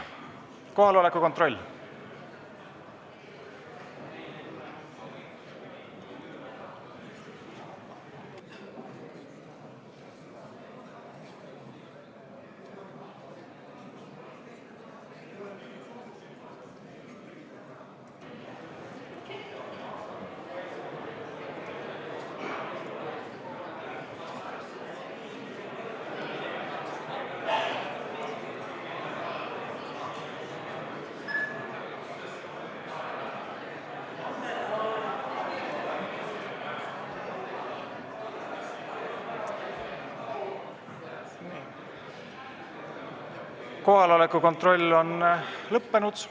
Kohaloleku kontroll on lõppenud.